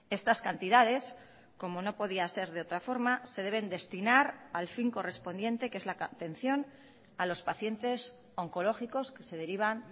estas cantidades como no podía ser de otra forma se deben destinar al fin correspondiente que es la atención a los pacientes oncológicos que se derivan